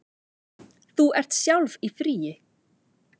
Þú ert sjálf í fríi.